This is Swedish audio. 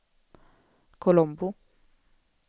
Colombo